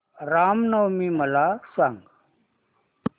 राम नवमी मला सांग